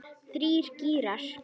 Þrír gírar.